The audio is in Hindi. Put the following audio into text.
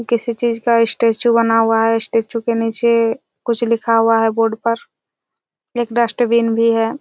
किसी चीज का स्टेचू बना हुआ है स्टेचू के नीचे कुछ लिखा हुआ है बोर्ड पर एक डस्टबिन भी है।